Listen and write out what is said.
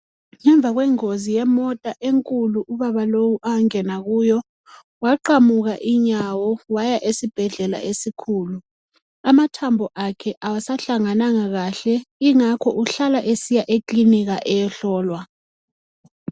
Ngemva kwengozi yemota enkulu ubaba lowu angena kuyo waqamuka inyawo waya esibhedlela esikhulu. Amathambo akhe awasahlangananga kahle ingakho uhlala esiya ekilinika eyohlolwa.